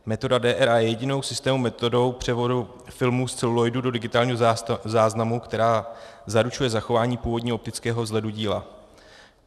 Metoda DRA je jedinou systémovou metodou převodu filmů z celuloidu do digitálního záznamu, která zaručuje zachování původního optického vzhledu díla.